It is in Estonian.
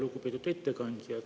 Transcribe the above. Lugupeetud ettekandja!